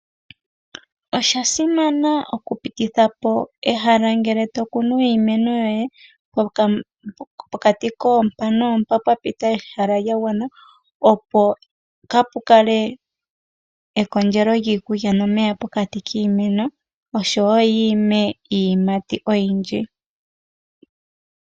Osha simana okupititha po ehala ngele to kunu iimeno yoye pokati koompa noompa pwa pita ehala lya gwana, opo kaapu kale ekondjelo lyiikulya nomeya pokati koshimeno osho wo yi ime iiyimati oyindji.